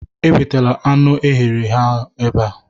Ewetala anụ e ghere eghe ebe a